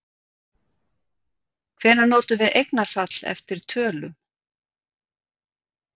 Hvenær notum við eignarfall eftir tölum?